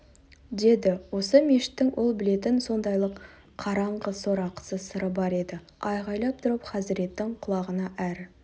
деді осы мешіттің ол білетін сондайлық қараңғы сорақы сыры бар еді айғайлап тұрып хазіреттің құлағына әр